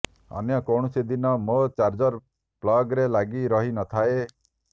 ଅନ୍ୟ କୌଣସି ଦିନ ମୋ ଚାର୍ଜର୍ ପ୍ଲଗ୍ରେ ଲାଗି ରହି ନ ଥାଏ